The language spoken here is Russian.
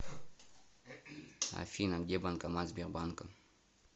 афина где банкомат сбербанка